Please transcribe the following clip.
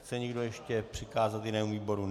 Chce někdo ještě přikázat jinému výboru?